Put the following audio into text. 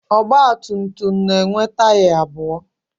Ọgbatumtum na-enwe taya abụọ.